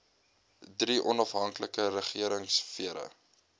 drie onafhanklike regeringsfere